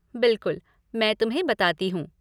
बिलकुल, मैं तुम्हें बताती हूँ।